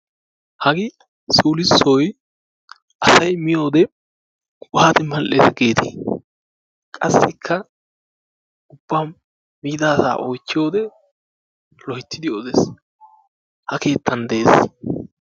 Hagee sulssoy asay miyode waati mal'ees giidetii? qassikka miida asaa oychiyode loyttidi odees ha keettan de'ees.